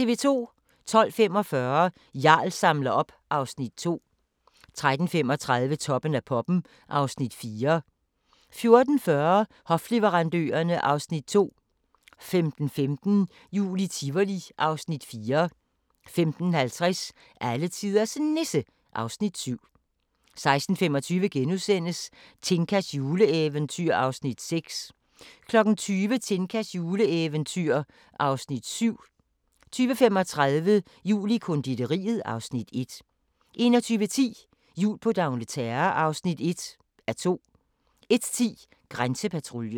12:45: Jarl samler op (Afs. 2) 13:35: Toppen af poppen (Afs. 4) 14:40: Hofleverandørerne (Afs. 2) 15:15: Jul i Tivoli (Afs. 4) 15:50: Alletiders Nisse (Afs. 7) 16:25: Tinkas juleeventyr (Afs. 6)* 20:00: Tinkas juleeventyr (Afs. 7) 20:35: Jul i konditoriet (Afs. 1) 21:10: Jul på d'Angleterre (1:2) 01:10: Grænsepatruljen